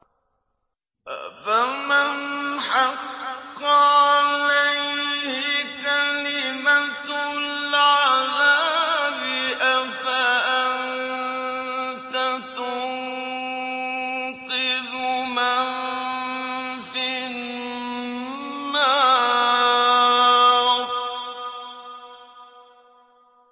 أَفَمَنْ حَقَّ عَلَيْهِ كَلِمَةُ الْعَذَابِ أَفَأَنتَ تُنقِذُ مَن فِي النَّارِ